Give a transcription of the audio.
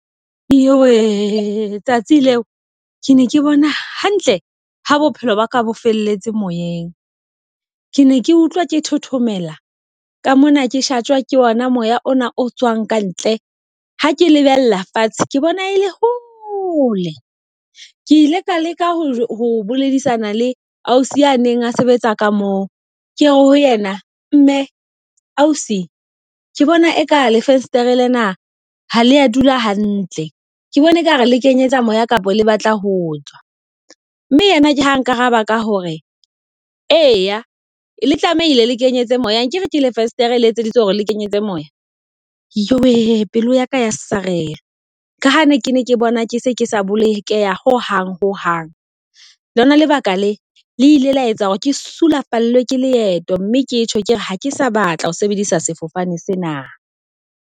Iyo wee tsatsi leo ke ne ke bona hantle ha bophelo ba ka bo felletse moyeng. Ke ne ke utlwa ke thothomela, ka mona ke shatjhwa ke ona moya ona o tswang ka ntle. Ha ke lebella fatshe ke bona e le hole, ke ile ka leka ho boledisana le ausi a neng a sebetsa ka moo. Ke re ho yena mme ausi ke bona eka le fensetereng lena ha le dula hantle. Ke bona ekare le kenyetsa moya kapa le batla ho tswa. Mme yena ke ha nkaraba ka hore eya le tlamehile le kenyetse moya, akere ke le fesetere letseditswe hore le kenyetse moya. Jowe pelo yaka ya sarelwa, ka ha ne ke ne ke bona ke se ke sa bolokeha ho hang hang. Lona lebaka le le ile la etsa hore ke sulafallwe ke leeto, mme ketjho kere ha ke sa batla ho sebedisa sefofane sena.